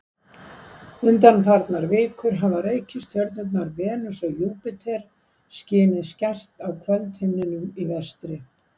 undanfarnar vikur hafa reikistjörnurnar venus og júpíter skinið skært á kvöldhimninum í vestri